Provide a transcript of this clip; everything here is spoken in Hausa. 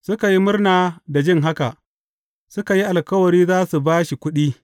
Suka yi murna da jin haka, suka yi alkawari za su ba shi kuɗi.